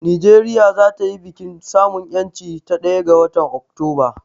Nigeria za ta yi bikin samun ƴancin ta a ɗaya ga watan Oktoba